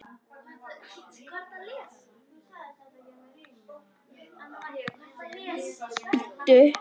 Á hverju?